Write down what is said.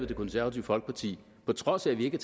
det konservative folkeparti på trods af at vi ikke